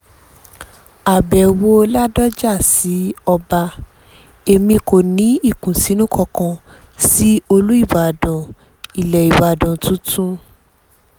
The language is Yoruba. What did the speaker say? àbẹ̀wò ládọ́jà sí ọba èmi ò ní ìkùnsínú kankan sí olùbàdàn ilẹ̀ ìbàdàn tuntun